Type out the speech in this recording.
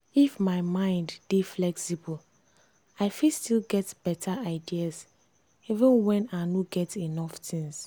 if my mind dey flexible i fit still get better ideas even when i no get enough things.